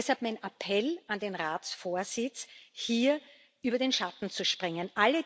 Deshalb mein Appell an den Ratsvorsitz, hier über seinen Schatten zu springen.